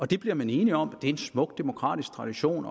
det bliver man enige om det er en smuk demokratisk tradition